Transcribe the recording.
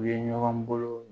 U ye ɲɔgɔn bolo